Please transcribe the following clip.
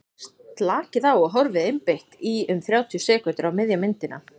slakið á og horfið einbeitt í um þrjátíu sekúndur á miðja myndina